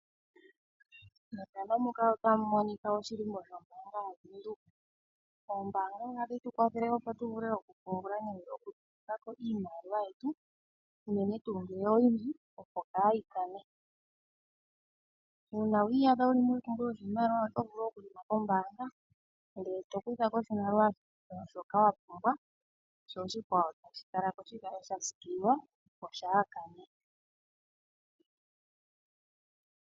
Methano muka otamu monika oshilimbo shombanga yaVenduka. Ombaanga otayi tu kwathele okupungula nenge okutula ko iimaliwa yetu , uunene tuu ngele oyindji opo kaayi kane. Uuna wi iyadha wuli mompumbwe yopashimaliwa oto vulu okuthika pombaanga, ndele to kutha ko oshimaliwa shoka wa pumbwa sho oshikwawo tashi kala ko shi kale sha siikililwa opo shaa kane.